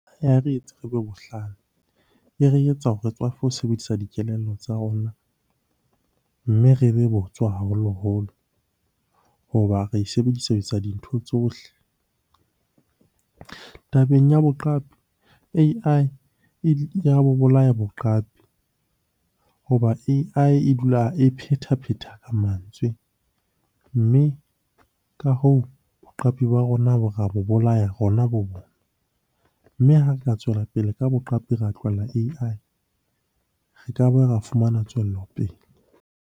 Re etse re be bohlale, e re etsa hore re tswafe ho sebedisa dikelello tsa rona, mme re be botswa haholoholo. Hoba re e sebedisa ho etsa dintho tsohle. Tabeng ya boqapi A_I ya bo bolaya boqapi hoba A_I e dula e phethaphetha mantswe. Mme ka hoo, boqapi ba rona ra mo bolaya rona bo . Mme ha re ka tswela pele ka boqapi, ra tlohella A_I. Re ka ba ra fumana tswelopele.